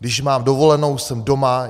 Když mám dovolenou, jsem doma.